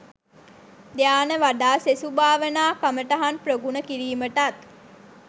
ධ්‍යාන වඩා සෙසු භාවනා කමටහන් ප්‍රගුණ කිරීමටත්